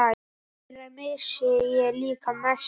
Þeirra missir er líka mestur.